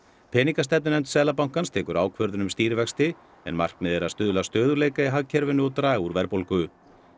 peningastefnunefnd Seðlabankans tekur ákvörðun um stýrivexti en markmiðið er að stuðla að stöðugleika í hagkerfinu og draga úr verðbólgu